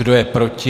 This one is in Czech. Kdo je proti?